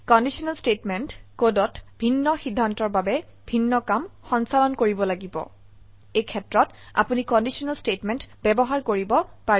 conditional statement কোডত ভিন্ন সিদ্ধান্তৰ বাবে ভিন্ন কাম সঞ্চালন কৰিব লাগিব এইক্ষেত্ৰত আপোনি কন্ডিশনেল স্টেটমেন্ট ব্যবহাৰ কৰিব পাৰিব